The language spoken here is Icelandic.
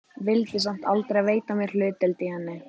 Vildi samt aldrei veita mér hlutdeild í henni.